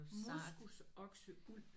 Moskusokseuld